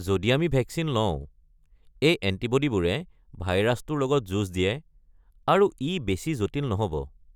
যদি আমি ভেকচিন লওঁ, এই এণ্টিব'ডিবোৰে ভাইৰাছটোৰ লগত যুঁজ দিয়ে আৰু ই বেছি জটিল নহব।